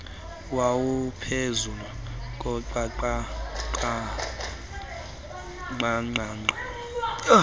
wawuphezu koqaqaqa qaqaqa